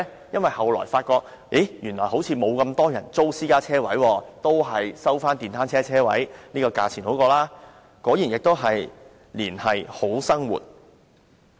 因為後來發現原來沒有那麼多人需要租用私家車車位，還是收取電單車車位的租金較好，果然亦是"連繫好生活"。